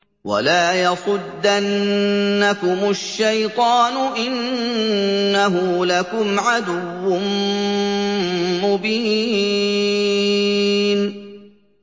وَلَا يَصُدَّنَّكُمُ الشَّيْطَانُ ۖ إِنَّهُ لَكُمْ عَدُوٌّ مُّبِينٌ